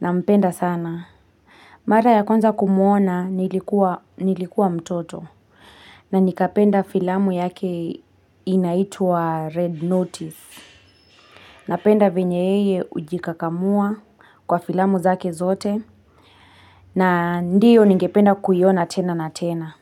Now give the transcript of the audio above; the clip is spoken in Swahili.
Nampenda sana. Mara ya kwanza kumuona, nilikuwa nilikuwa mtoto. Na nikapenda filamu yake inaitwa Red Notice. Napenda venye yeye hujikakamua kwa filamu zake zote. Na ndiyo ningependa kuiona tena na tena.